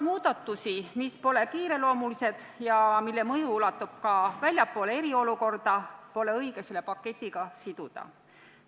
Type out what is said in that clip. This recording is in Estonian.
Muudatusi, mis pole kiireloomulised ja mille mõju ulatub eriolukorrast kaugemale, pole aga õige selle paketiga siduda.